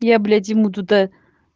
я блять ему туда